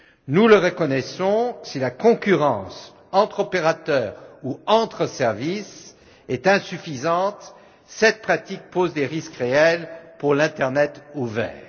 Nous le reconnaissons, si la concurrence entre opérateurs ou entre services est insuffisante, cette pratique pose des risques réels pour l'internet ouvert.